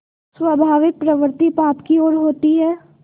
स्वाभाविक प्रवृत्ति पाप की ओर होती है